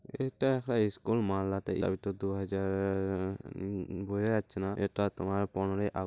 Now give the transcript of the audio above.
এটা high school মালদাতে হয়ত দুহা-জা-র আ বোঝা যাচ্ছে না। এটা তোমার পনেরই আগ --